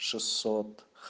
шестьсот